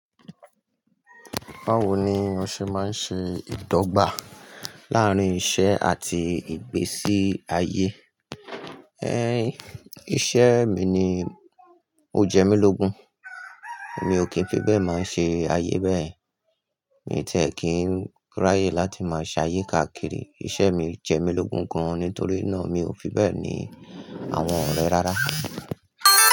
Báwo ni o ṣe máa ń ṣe ìdọ́gba láàárín iṣẹ́ àti ìgbésí ayé? É, iṣẹ́ mi ni o jẹ́ mí lógun, èmi ò kí n fi bẹ́ẹ̀ máa ṣe ayé bẹ́ẹ̀. Èmi tẹ̀ kí n ráyè láti máa ṣayé káàkiri. Iṣẹ́ mi jẹ́ mí lógun gan-an nítorí náà mi ò fi bẹ́ẹ̀ ni àwọn ọ̀rẹ́ rárá.